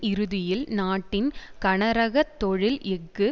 இறுதியில் நாட்டின் கனரக தொழில் எஃகு